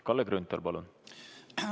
Kalle Grünthal, palun!